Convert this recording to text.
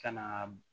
Ka na